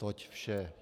Toť vše.